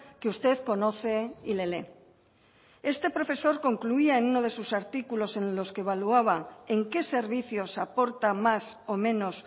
que usted conoce y le lee este profesor concluía en uno de sus artículos en los que evaluaba en qué servicios aporta más o menos